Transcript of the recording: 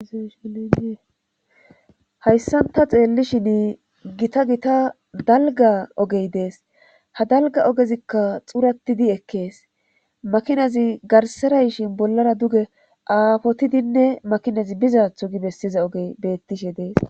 hayssanta xeellishin gita gita dalga ogey dees ha dalga ogezikka xuratidi ekkees makinazi garserayshin bollara duge aafotidinne makinazi bizaatho gi bessiza ogey bettishe dees